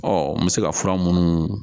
Ɔ n bɛ se ka fura minnu